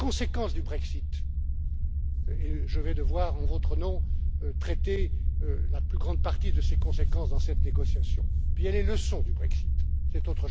Il y a les conséquences du Brexit et je vais devoir, en votre nom, traiter la plus grande partie de ces conséquences dans cette négociation et il y a les leçons du Brexit, qui sont différentes.